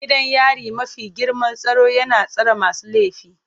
Gidan yari mafi girman tsaro yana tsare masu laifi.